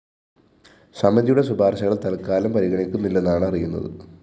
സമിതിയുടെ ശുപാര്‍ശകള്‍ തല്‍ക്കാലം പരിഗണിക്കുന്നില്ലെന്നാണ് അറിയുന്നത്